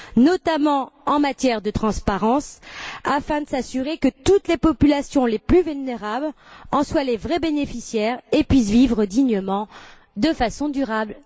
notamment en matière de transparence, afin de s'assurer que toutes les populations vulnérables en soient les vrais bénéficiaires et puissent vivre dignement, de façon durable.